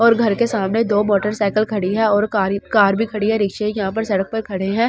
और घर के सामने दो मोटरसाइकिल खड़ी है और कार ही कार भी खड़ी है रिक्शे यहाँ पर सड़क पर खड़े है ।